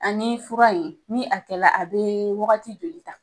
Ani fura in ni a kɛ la a bɛ wagati joli ta?